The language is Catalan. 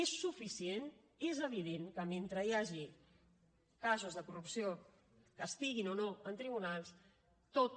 és suficient és evident que mentre hi hagi casos de corrupció que estiguin o no en tribunals tota